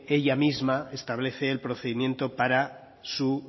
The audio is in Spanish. ella misma establece el procedimiento para su